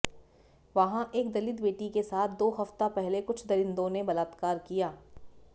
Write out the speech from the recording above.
वहां एक दलित बेटी के साथ दो हफ़्ता पहले कुछ दरिंदों ने बलात्कार किया